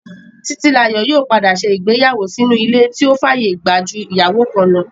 Títílayọ̀ yóò padà ṣe ìgbéyàwó sínú ilé tó fàyè gbà ju ìyàwó kan lọ